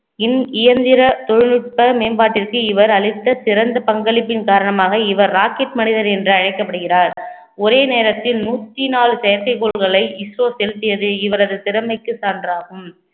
இன்~ இயந்திர தொழில்நுட்ப மேம்பாட்டிற்கு இவர் அளித்த சிறந்த பங்களிப்பின் காரணமாக இவர் rocket மனிதர் என்று அழைக்கப்படுகிறார் ஒரே நேரத்தில் நூற்றி நாலு செயற்கைக் கோள்களை இஸ்ரோ செலுத்தியது இவரது திறமைக்கு சான்றாகும்